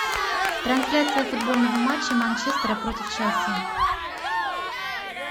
трансляция футбольного матча манчестера против челси